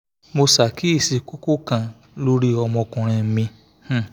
mo ṣàkíyèsí kókó kan lórí ọmọkùnrin mi um